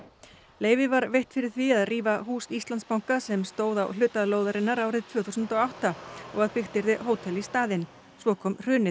leyfi var veitt fyrir því að rífa hús Íslandsbanka sem stóð hér á hluta lóðarinnar árið tvö þúsund og átta og að byggt yrði hótel í staðinn svo kom hrunið